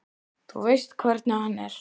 Þú veist hvernig hann er.